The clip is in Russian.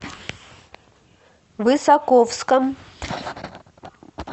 высоковском